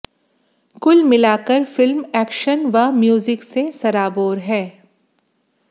कुल मिलाकर film action व म्यूजिक से सराबोर है